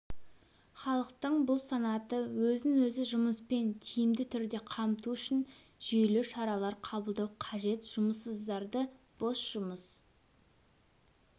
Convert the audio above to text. халықтың бұл санаты өзін-өзі жұмыспен тиімді түрде қамту үшін жүйелі шаралар қабылдау қажет жұмыссыздарды бос жұмыс